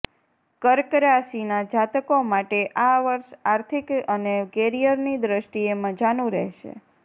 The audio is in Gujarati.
કર્ક રાશિના જાતકો માટે આ વર્ષ આર્થિક અને કેરિયરની દ્રષ્ટિએ મજાનું રહેશે